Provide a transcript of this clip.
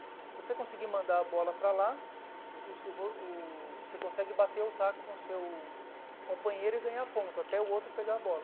Se você conseguir mandar a bola para lá, o vo o você consegue bater o taco com o seu companheiro e ganhar a ponta, até o outro pegar a bola.